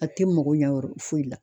A tɛ mago ɲa yɔrɔ foyi la.